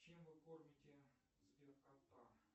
чем вы кормите сбер кота